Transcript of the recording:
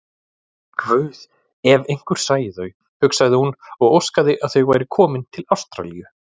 Guð, ef einhver sæi þau, hugsaði hún og óskaði að þau væru komin til Ástralíu.